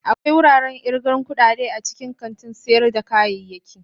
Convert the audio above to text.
Akwai wuraren irgan kudade a cikin kantin sayar da kayayyaki.